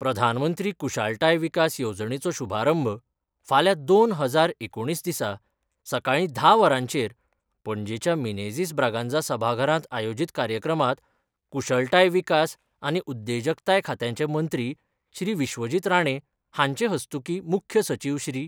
प्रधानमंत्री कुशळताय विकास येवजणेचो शुभारंभ फाल्यां दोन हजार एकुणीस दिसा सकाळी धा वरांचेर पणजेच्या मिनेझिस ब्रागांझा सभाघरात आयोजित कार्यक्रमात कुशळताय विकास आनी उद्देजकताय खात्याचे मंत्री श्री विश्वजित राणे हांचे हस्तूकीं मुख्य सचिव श्री.